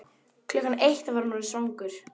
Klukkan eitt var hann orðinn svangur.